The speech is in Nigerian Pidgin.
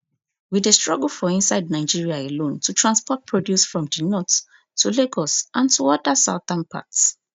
we dey struggle for inside nigeria alone to transport produce from di north to lagos and to oda southern parts